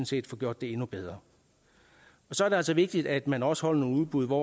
set får gjort det endnu bedre så er det altså vigtigt at man også holder nogle udbud hvor